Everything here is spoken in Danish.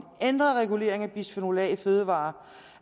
ændret regulering af bisfenol a i fødevarer